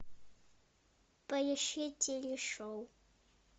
поищи телешоу